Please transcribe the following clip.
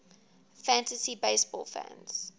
fantasy baseball fans